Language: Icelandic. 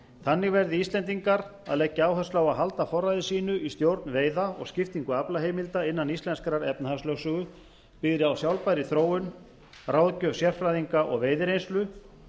þannig verði íslendingar að leggja áherslu á að halda forræði sínu í stjórn veiða og skiptingu aflaheimilda innan íslenskrar efnahagslögsögu byggðri á sjálfbærri þróun ráðgjöf sérfræðinga og veiðireynslu